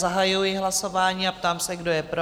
Zahajuji hlasování a ptám se, kdo je pro?